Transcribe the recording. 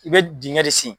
I bɛ dingɛ de sen